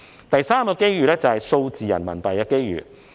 第三個機遇是數字人民幣。